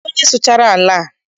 Kedụ onye sụchara ala a?